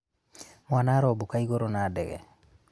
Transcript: mwana arombũka igũrũ na ndege